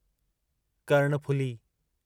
Karnaphuli